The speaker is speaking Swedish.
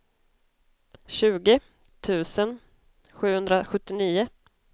tjugo tusen sjuhundrasjuttionio